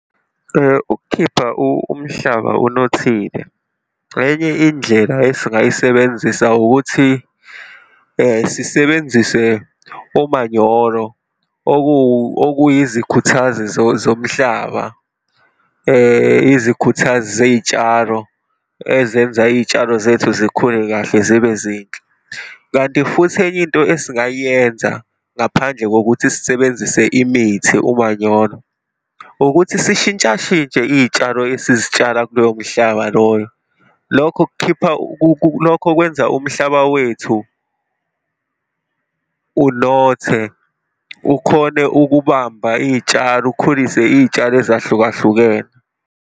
Ukukhipha umhlaba unothile, enye indlela esingayisebenzisa ukuthi sisebenzise umanyolo, okuyizikhuthazi zomhlaba, izikhuthazi zey'tshalo, ezenza iy'tshalo zethu zikhule kahle zibe zinhle. Kanti futhi enye into esingayenza, ngaphandle kokuthi sisebenzise imithi, umanyolo, ukuthi sishintshashintshe iy'tshalo esizitshala kuloyo mhlaba loyo. Lokho kukhipha, lokho kwenza umhlaba wethu unothe, ukhone ukubamba iy'tshalo, ukhulise iy'tshalo ezahlukahlukene.